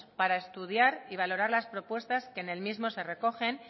para estudiar y valorar las propuestas que en el mismo se recogen